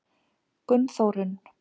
Gunnþórunn